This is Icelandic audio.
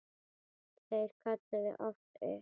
Þeir kölluðu oft upp